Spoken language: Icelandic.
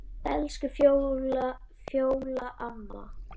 Elsku Fjóla amma.